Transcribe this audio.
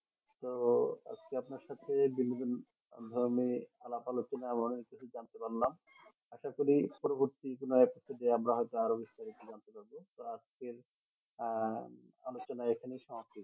তো আজকে আপনার সাথে বিনোদন সংগ্রামে আলাপ আলোচনা অনেক কিছু জানতে পারলাম আশাকরি পরবর্তী কোনো episode এ আমরা হয়তো আরো বিস্তারিত জানতে পারবো তো আজকের আহ আলোচনা এখানেই সমাপ্ত